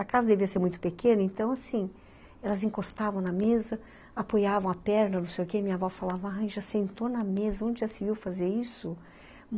A casa devia ser muito pequena, então, assim, elas encostavam na mesa, apoiavam a perna, não sei o quê, minha avó falava, ai, já sentou na mesa, onde já se viu fazer isso?